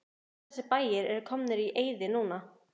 Allir þessir bæir eru komnir í eyði núna.